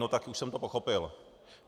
No tak už jsem to pochopil.